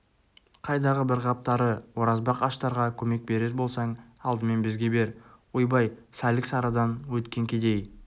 қайдағы бір қап тары оразбақ аштарға көмек берер болсаң алдымен бізге бер ойбай сәлік-сарыдан өткен кедей